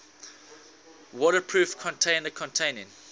waterproof container containing